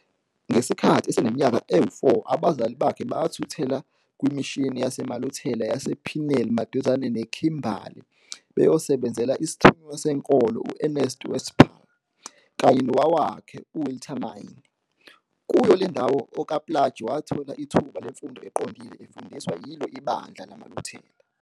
Ngesikhathi oseneminyaka e-4 abazali bakhe bathuthela kwimishini yamaLuthela yase-Pniel maduzane neKhimbali beyosebenzela isthunywa senkolo uErnst Westphal, kanye nowakwakhe uWilhelmine. Kuyo lendawo okaPlaatje wathola ithuba lemfundo eqondile efundiswa yilo ibandla lamaLuthela.